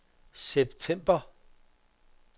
september